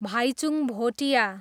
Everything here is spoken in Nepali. भाइचुङ भोटिया